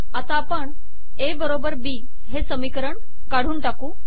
आता आपण ए बरोबर बी हे समीकरण काढून टाकू